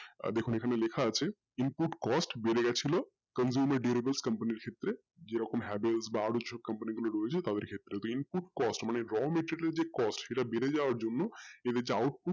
দেখুন এখানে লেখা আছে input cost বেড়ে গেছিলো consumer bearable company ক্ষেত্রে যে রকম Havells বা অন্য অন্য brosob company গুলো রয়েছে তাদের ক্ষেত্রে ও input cost মানে raw material যে cost বেড়ে যাওয়ার জন্য এদের যে output